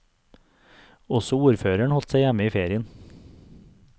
Også ordføreren holdt seg hjemme i ferien.